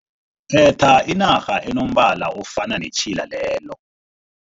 Khetha irhara enombala ofana netjhila lelo.